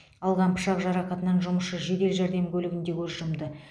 алған пышақ жарақатынан жұмысшы жедел жәрдем көлігінде көз жұмды